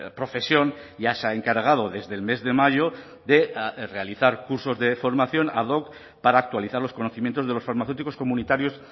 profesión ya se ha encargado desde el mes de mayo de realizar cursos de formación ad hoc para actualizar los conocimientos de los farmacéuticos comunitarios